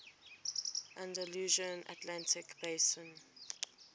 andalusian atlantic basin